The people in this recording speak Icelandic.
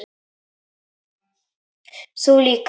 Þú líka?